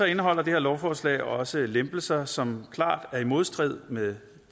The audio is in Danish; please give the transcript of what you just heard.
indeholder det her lovforslag også lempelser som klart er i modstrid med